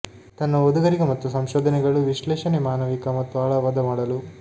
ತನ್ನ ಓದುಗರಿಗೆ ಮತ್ತು ಸಂಶೋಧನೆಗಳು ವಿಶ್ಲೇಷಣೆ ಮಾನವಿಕ ಮತ್ತು ಆಳವಾದ ಮಾಡಲು